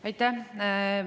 Aitäh!